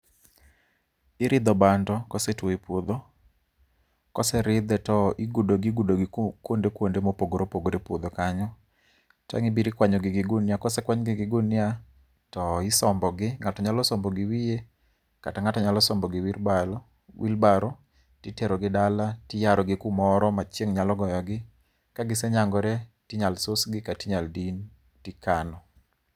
Iridho bando kosetuo e puodho. Koseridhe to igudo gi igudogi kuonde mopogore opogore epuodho kanyo, to ang' ibiro ikwanyogi gi gunia kose kwany gi gi gunia, to isombogi. Ng'ato nyalo sombo gi giwiye, kata ng'ato nyalo sombogi gi wheelbarrow, titerogi dala, tiyarogi kumoro ma chieng' nyalo gogi, ka gisenyangore to inyalo susgi kata din to ikano.